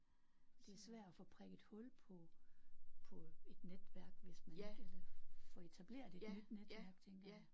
Det er svært at få prikket hul på på et netværk hvis man ikke eller få etableret et nyt netværk tænker jeg